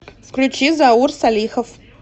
включи заур салихов